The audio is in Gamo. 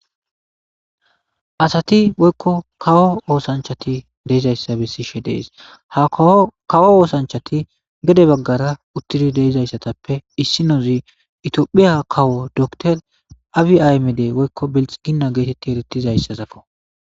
asati woykko kawo oosanchati de7izayssa bessishe de7es ha kawo oosanchati gede baggara uttidi deizayssatappe issinozi itiophiya kawo dokter abi aymede woykko beltsiginna geetetti eretizayssazako